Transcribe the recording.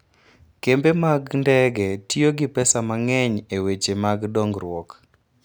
Kembe mag ndege tiyo gi pesa mang'eny e weche mag dongruok.